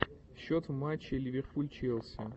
счет в матче ливерпуль челси